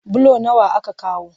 Bulo nawa aka kawo?